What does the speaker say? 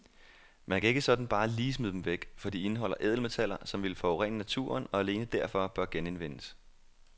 Man kan ikke sådan bare lige smide dem væk, for de indeholder ædelmetaller, som ville forurene naturen og alene derfor bør genindvindes.